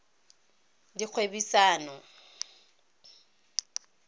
dikgwebisano